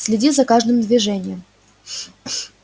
следи за каждым движением